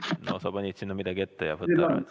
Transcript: No sa panid sinna midagi ette, võta ära.